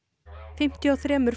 fimmtíu og þremur